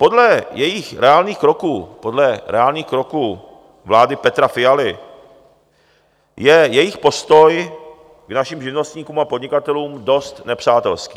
Podle jejich reálných kroků, podle reálných kroků vlády Petra Fialy je jejich postoj k našim živnostníkům a podnikatelům dost nepřátelský.